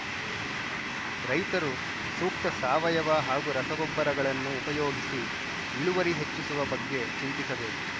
ರೈತರು ಸೂಕ್ತ ಸಾವಯವ ಹಾಗೂ ರಸಗೊಬ್ಬರಗಳನ್ನು ಉಪಯೋಗಿಸಿ ಇಳುವರಿ ಹೆಚ್ಚಿಸುವ ಬಗ್ಗೆ ಚಿಂತಿಸಬೇಕು